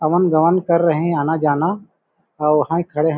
अमन गमन कर रहे हैं आना जाना और वहाँ ही खड़े हैं--